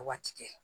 Waati kɛ